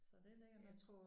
Så det lækkert nok